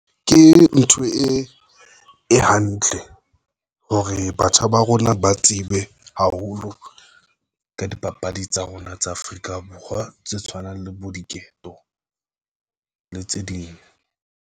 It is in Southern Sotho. Ke ntho e hantle hore batjha ba rona ba tsebe haholo ka dipapadi tsa rona tsa Afrika Borwa, tse tshwanang le bo diketo le tse ding.